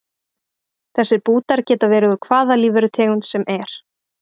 Þessir bútar geta verið úr hvaða lífverutegund sem er.